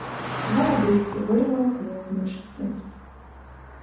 порвала брюки вырвала клок мышцы